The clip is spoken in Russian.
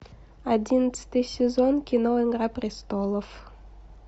одиннадцатый сезон кино игра престолов